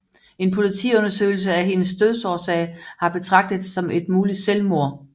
En politiundersøgelse af hendes dødsårsag har betragtet det som et muligt selvmord